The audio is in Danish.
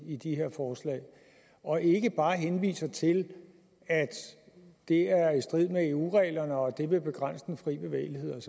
i de her forslag og ikke bare henviser til at det er i strid med eu reglerne og at det vil begrænse den frie bevægelighed og